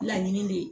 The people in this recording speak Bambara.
Laɲini de ye